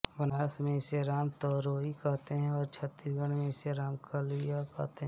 बनारस में इसे राम तरोई कहते हैं और छत्तीसगढ में इसे रामकलीय कहते हैं